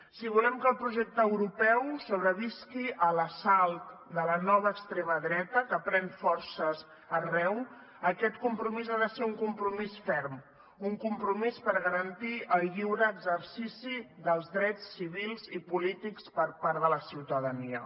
si volem que el projecte europeu sobrevisqui a l’assalt de la nova extrema dreta que pren forces arreu aquest compromís ha de ser un compromís ferm un compromís per garantir el lliure exercici dels drets civils i polítics per part de la ciutadania